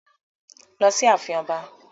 Lọ sí ààfin Ọba.